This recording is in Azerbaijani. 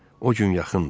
O gün yaxındır.